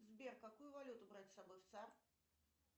сбер какую валюту брать с собой в сад